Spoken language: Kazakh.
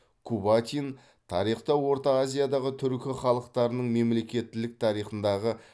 кубатин тарихта орта азиядағы түркі халықтарының мемлекеттілік тарихындағы